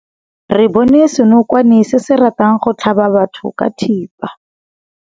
Re bone senokwane se se ratang go tlhaba batho ka thipa.